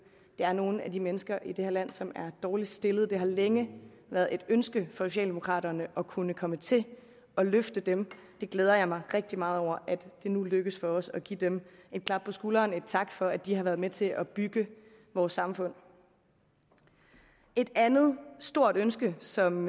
er nogle af de mennesker i det her land som er dårligst stillede det har længe været et ønske socialdemokraterne at kunne komme til at løfte dem jeg glæder mig rigtig meget over at det nu lykkes for os at give dem et klap på skulderen en tak for at de har været med til at bygge vores samfund et andet stort ønske som